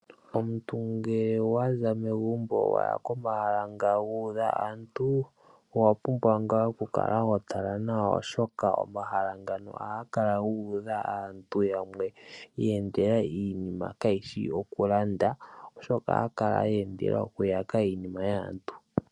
Omuntu ngele waza megumbo waya komahala nga guudha aantu, owa pumbwa ngaa oku kala wa tala nawa oshoka, omahala ngano ohaga kala gu udha aantu yamwe ya endele iinima kaayishi okulanda. Oshoka ohaya kala ya endela oku yaka iinima yaantu.